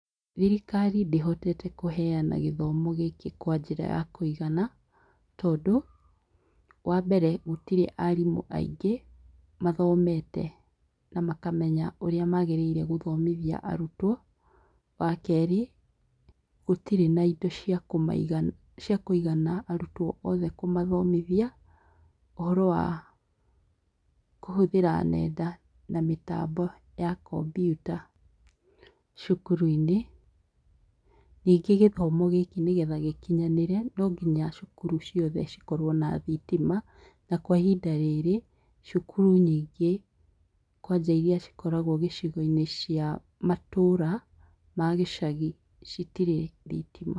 Thirikari ndĩhotete kũheana gĩthomo gĩkĩ kwa njĩra ya kũigana tondũ, wambere gũtirĩ arimũ aingĩ mathomete na makamenya ũrĩa magĩrĩire gũthomithia arutwo. Wakerĩ, gũtirĩ na indo ciakũmaigana ciakũigana arutwo othe kũmathomithia ũhoro wa kũhũthĩra nenda na mĩtambi ya kombyuta cukuru-inĩ. Nyingĩ gĩthomo gĩkĩ nĩgetha gĩkinyanĩre nonginya cukuru ciothe cikorwo na thitima, na kwa ihinda rĩrĩ cukuru nyingĩ kwanja iria cikoragwo gĩcigo-inĩ cia matũra ma gĩcagi citirĩ thitima.